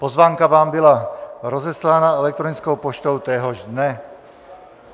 Pozvánka vám byla rozeslána elektronickou poštou téhož dne.